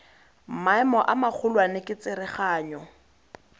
maemo a magolwane ke tsereganyo